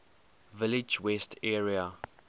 village west area